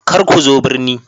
Kar ku zo birni